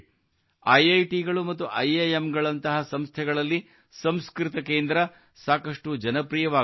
IITಗಳು ಮತ್ತು IIMಗಳಂತಹ ಸಂಸ್ಥೆಗಳಲ್ಲಿ ಸಂಸ್ಕೃತ ಕೇಂದ್ರ ಸಾಕಷ್ಟು ಜನಪ್ರಿಯವಾಗುತ್ತಿವೆ